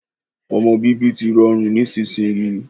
Ọmọ bíbí tí rọrùn nísinsìnyi